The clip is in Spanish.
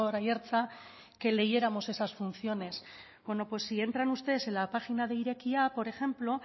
aiartza que leyéramos esas funciones bueno pues si entran ustedes en la página de irekia por ejemplo